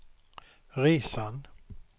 resan